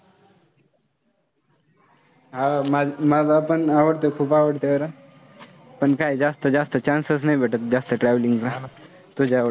हो. मला मलापण आवडतं, आवडतं जरा. पण काय, जास्त जास्त chance नाय भेटत जास्त travelling ला तुझ्या एवढं.